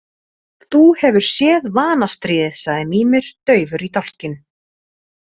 Þú hefur séð Vanastríðið, sagði Mímir daufur í dálkinn.